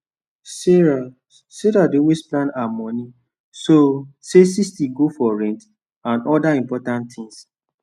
sarah sarah dey always plan her money so say 60 go for rent and other important things